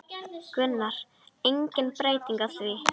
Gunnar: Engin breyting á því?